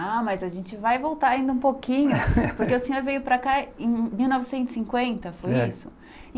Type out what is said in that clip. Ah, mas a gente vai voltar ainda um pouquinho, porque o senhor veio para cá em mil novecentos e cinquenta, foi isso?